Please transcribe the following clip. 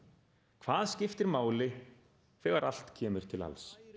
hvað skiptir máli þegar allt kemur til alls